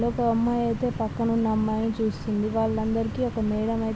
ఒక అమ్మాయి అయితే పక్కన ఉన్న అమ్మాయి ని చూస్తూ ఉంది వాళ్ళ అందరికి ఒక మేడం అయితే--